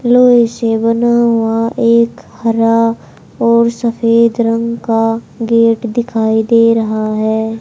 लोहे से बना हुआ एक हरा और सफेद रंग का गेट दिखाई दे रहा है।